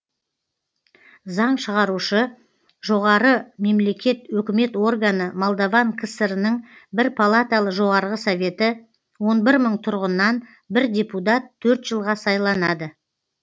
заң шығарушы жоғары мемлекет өкімет органы молдаван кср інің бір палаталы жоғарғы советі он бір мың тұрғыннан бір депутат төрт жылға сайланады